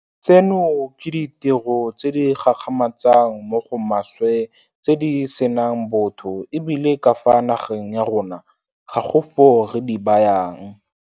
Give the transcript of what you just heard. Tseno ke ditiro tse di gakgamatsang mo go maswe tse di senang botho e bile ka fa nageng ya rona ga go foo re di bayang.